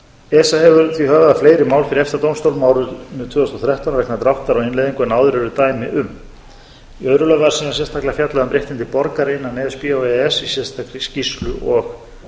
á innleiðingu en áður eru dæmi um í öðru lagi var síðan sérstaklega fjallað um réttindi borgara innan e s b og e e s í sérstakri skýrslu og